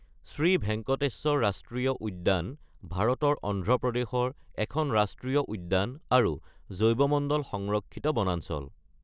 শ্ৰী ভেংকটেশ্বৰ ৰাষ্ট্ৰীয় উদ্যান ভাৰতৰ অন্ধ্ৰ প্ৰদেশৰ এখন ৰাষ্ট্ৰীয় উদ্যান আৰু জৈৱমণ্ডল সংৰক্ষিত বনাঞ্চল।